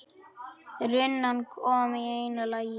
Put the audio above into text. Runan kom í einu lagi.